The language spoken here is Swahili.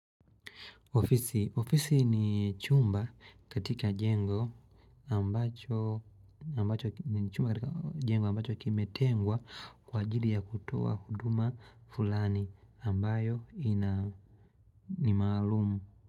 Ofisi ni chumba katika jengo ambacho kimetengwa kwa ajili ya kutoa huduma fulani ambayo ni maalumu.